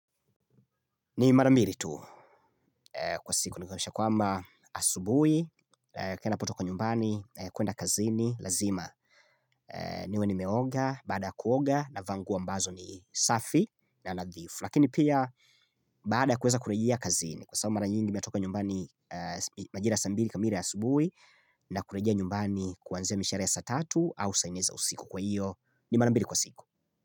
Ni mara mbili tu kwa siku ni kwamisha kwamba asubuhi ninapotoka kwa nyumbani kwenda kazini lazima niwe nimeoga baada kuoga navaa nguo ambazo ni safi na nadhifu Lakini pia baada kuweza kurejea kazini Kwa saa mara nyingi ninatoka nyumbani majira saa mbili kamili asubuhi na kurejia nyumbani kuanzia mishare ya satatu au sanne usiku kwa iyo ni marambiri kwa siku.